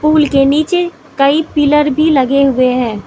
Pool के नीचे कई पिलर भी लगे हुए है।